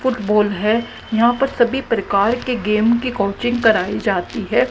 Football है। यहां पर सभी प्रकार के गेम के कोचिंग कराई जाती है।